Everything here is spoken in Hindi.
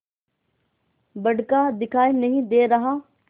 बड़का दिखाई नहीं दे रहा